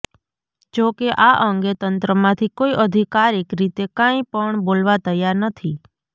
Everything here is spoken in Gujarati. જો કે આ અંગે તંત્રમાંથી કોઇ અધિકારીક રીતે કાંઇ પણ બોલવા તૈયાર નથી